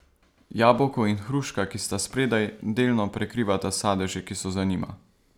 Jabolko in hruška, ki sta spredaj, delno prekrivata sadeže, ki so za njima.